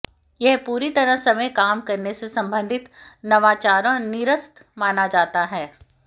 यह पूरी तरह समय काम करने से संबंधित नवाचारों निरस्त माना जाता है